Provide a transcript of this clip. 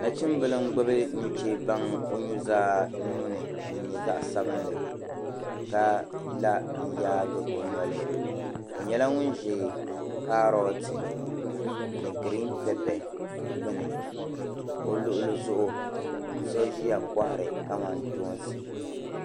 Nachimbila n gbibi nuchebaŋa o nuzaa nuuni din nyɛ zaɣa sabinli ka la n yaagi o noli o nyɛla ŋun ʒi kaaroti ni girin pepe gbini ka o luɣili zuɣu so ʒia kohari kamantoosi.